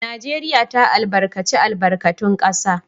Najeriya ta albarkaci albarkatun kasa